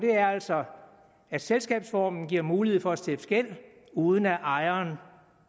er altså at selskabsformen giver mulighed for at stifte gæld uden at ejeren